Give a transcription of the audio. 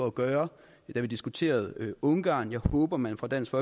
at gøre da vi diskuterede ungarn jeg håber man fra dansk